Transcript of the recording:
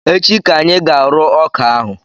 Echi ka anyị ga-arụ ọka ahụ